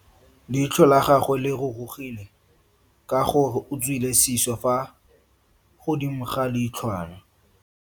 Leitlho la gagwe le rurugile ka gore o tswile siso fa godimo ga leitlhwana.